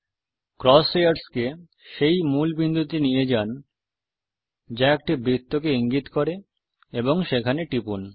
cross হেয়রসকে সেই মূল বিন্দুতে নিয়ে যান যা একটি বৃত্তকে ইঙ্গিত করে এবং টিপুন